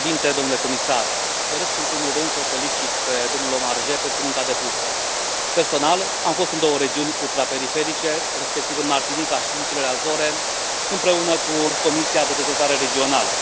Domnule președinte, doresc, în primul rând, să l felicit pe domnul Omarjee pentru munca depusă. Personal, am fost în două regiuni ultraperiferice, respectiv în Martinica și în insulele Azore, împreună cu Comisia de dezvoltare regională.